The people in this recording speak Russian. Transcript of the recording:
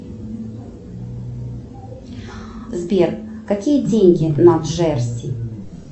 сбер какие деньги на джерси